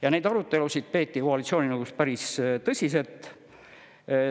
Ja neid arutelusid peeti koalitsiooninõukogus päris tõsiselt.